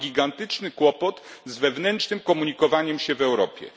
Mamy gigantyczny kłopot z wewnętrznym komunikowaniu się w Europie.